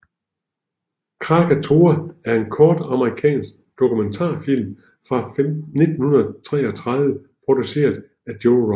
Krakatoa er en kort amerikansk dokumentarfilm fra 1933 produceret af Joe Rock